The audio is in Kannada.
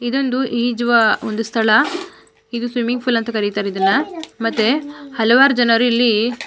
ಇದೊಂದು ಈಜುವ ಒಂದು ಸ್ಥಳ ಇದು ಸ್ವಿಮಿಂಗ್ ಫೂಲ್ ಅಂತ ಕರೀತಾರೆ ಇದನ್ನ ಮತ್ತೆ ಹಲವಾರು ಜನ ಇಲ್ಲಿ--